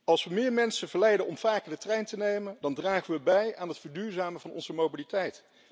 Als we meer mensen verleiden om vaker de trein te nemen, dan dragen we bij aan het verduurzamen van onze mobiliteit.